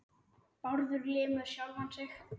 Bárður lemur sjálfan sig.